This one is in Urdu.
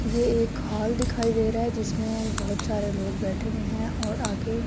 یہ ایک ہال دکھائی دے رہا ہے۔ جسمے بھوت سارے لوگ بیٹھے ہوئے ہے اور آگے--